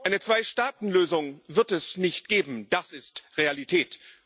Eine Zweistaatenlösung wird es nicht geben das ist Realität.